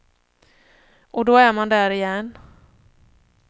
Och då är man där igen.